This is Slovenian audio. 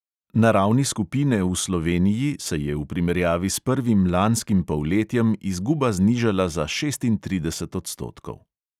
Na ravni skupine v sloveniji se je primerjavi s prvim lanskim polletjem izguba znižala za šestintrideset odstotkov.